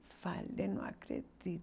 Ai, falei, não acredito.